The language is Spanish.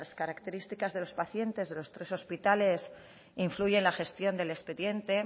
características de los pacientes de los tres hospitales influye en la gestión del expediente